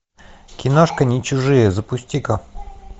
киношка нечужие запусти ка